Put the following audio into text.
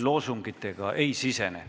loosungitega ei sisene.